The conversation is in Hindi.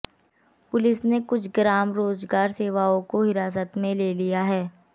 पुलिस ने कुछ ग्राम रोजगार सेवकों को हिरासत में लिया है